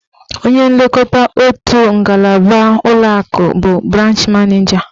Onye nlekọta otu ngalaba ụlọakụ bụ branch maneja.